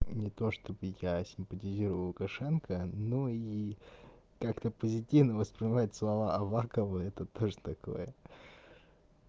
не то чтобы я симпатизирую лукашенко но и как-то позитивно воспринимать слова авакова это тоже такое